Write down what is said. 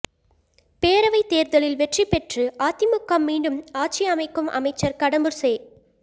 பேரவைத் தோ்தலில் வெற்றி பெற்றுஅதிமுக மீண்டும் ஆட்சி அமைக்கும்அமைச்சா் கடம்பூா் செ